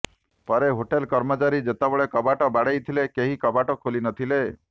ପରେ ହୋଟେଲ କର୍ମଚାରୀ ଯେତେବେଳେ କବାଟ ବାଡେଇଥିଲେ କେହି କବାଟ ଖୋଲିନଥିଲେ